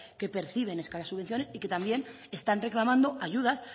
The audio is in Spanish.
que perciben escasas subvenciones y que también están reclamando ayudas